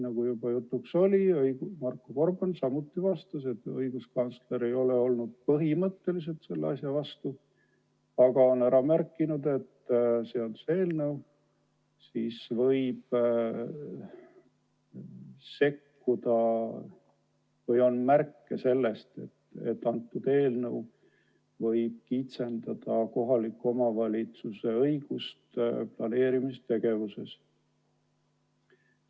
Nagu juba jutuks oli, Marko Gorban vastas ka meile, et õiguskantsler ei ole olnud põhimõtteliselt selle muudatuse vastu, aga on ära märkinud, et seaduseelnõu puhul on märke sellest, et see võib kitsendada kohaliku omavalitsuse õigusi planeerimistegevuses.